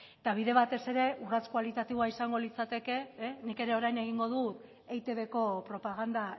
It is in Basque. eta bide batez ere urrats kualitatiboa izango litzateke nik ere orain egingo du eitbko propaganda